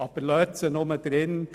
Aber lassen Sie diese nur drin: